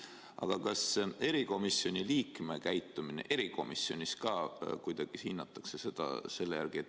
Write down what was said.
Aga kas erikomisjoni liikme käitumist erikomisjonis ka kuidagi hinnatakse selle järgi?